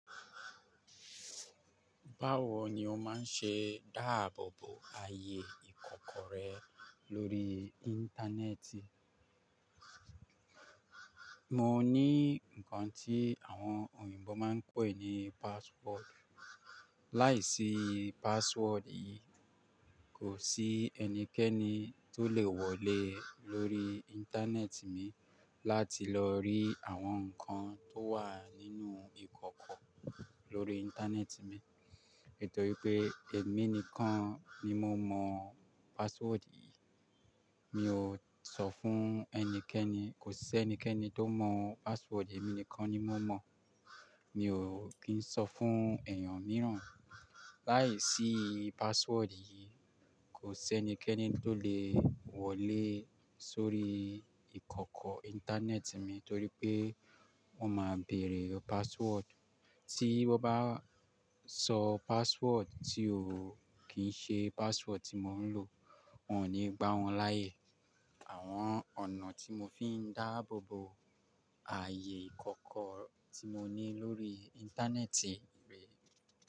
Báwo ni o máa ń ṣe dáàbò bo ààyè ìkọ̀kọ̀ rẹ lórí Íńtánẹ́ẹ̀tì? Mo ní nǹkan tí àwọn òyìnbó máa ń pè ní password. Láìsí password yìí, kò sí ẹnikẹ́ni tó lè wọlé lórí Íńtánẹ́ẹ̀tì mi láti lọ rí àwọn nǹkan tó wà nínú ìkọ̀kọ̀ lórí Íńtánẹ́ẹ̀tì mi. Nítorí pé èmi nìkan ni mo mọ password yìí. Mi ò sọ fún ẹnikẹ́ni, kò sí ẹnikẹ́ni tó mọ password, èmi nìkan ni mo mọ. Mi ò kí ń sọ fún èèyàn mìíràn. Láìsí password yìí, kò sí ẹnikẹ́ni tó lè wọlé sórí ìkọ̀kọ̀ Íńtánẹ́ẹ̀tì mi torí pé wọ́n máa bèrè password. Tí wọ́n bá sọ password tí ò kí ń ṣe password tí mò ń lò, wọn ò ní gbá wọn láàyè. Àwọn ọ̀nà tí mo fi ń dáàbò bo ààyè ìkọ̀kọ̀ tí mo ní lórí Íńtánẹ́ẹ̀tì rè.